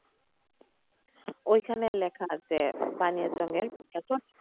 ওইখানে লেখা আছে বানিয়াচং এর